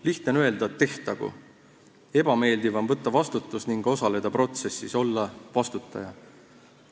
Lihtne on öelda, et tehtagu, ebameeldiv on võtta vastutus ning osaleda protsessis, olla vastutaja.